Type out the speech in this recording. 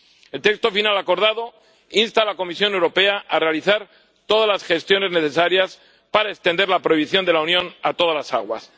El texto final acordado insta a la Comisión Europea a realizar todas las gestiones necesarias para extender la prohibición de la Unión a todas las aguas.